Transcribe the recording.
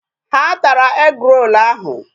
Ha tara egg-roll ahụ.